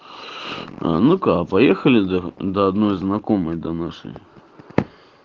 ну-ка поехали до до одной знакомой до нашей